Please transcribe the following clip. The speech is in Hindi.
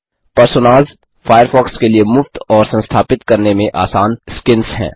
पर्सोनास फ़ायरफ़ॉक्स के लिए मुफ्त और संस्थापित करने में आसान स्किन्स हैं